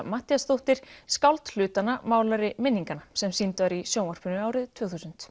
Matthíasdóttir skáld hlutanna málari minninganna sem sýnd var í sjónvarpinu árið tvö þúsund